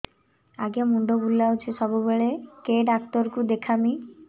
ଆଜ୍ଞା ମୁଣ୍ଡ ବୁଲାଉଛି ସବୁବେଳେ କେ ଡାକ୍ତର କୁ ଦେଖାମି